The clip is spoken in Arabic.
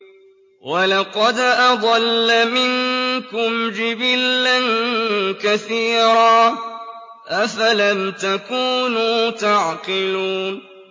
وَلَقَدْ أَضَلَّ مِنكُمْ جِبِلًّا كَثِيرًا ۖ أَفَلَمْ تَكُونُوا تَعْقِلُونَ